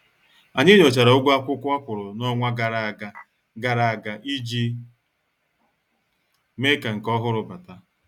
Anyị nyochara ụgwọ akwụkwọ akwuru n' ọnwa gara aga gara aga iji mee ka nke ọhụrụ bata.